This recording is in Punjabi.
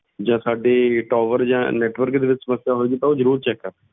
ਜਾਂ ਸਾਡੇ tower ਜਾਂ network ਦੇ ਵਿੱਚ ਸਮੱਸਿਆ ਹੋਏਗੀ ਤਾਂ ਉਹ ਜ਼ਰੂਰ check ਕਰ~